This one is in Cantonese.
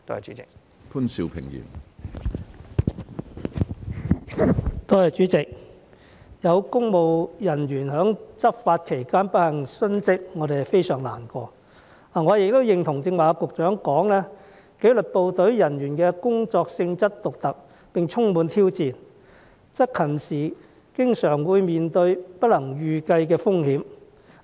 主席，有公務人員在執法期間不幸殉職，我們非常難過，我亦認同局長剛才提到紀律部隊人員的工作性質獨特，並充滿挑戰，執勤時經常會面對不能預計的風險。